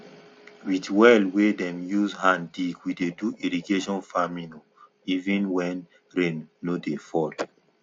with well wey dem use hand dig we dey do irrigation farming o even when rain no dey fall